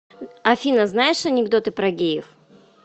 афина знаешь анекдоты про геев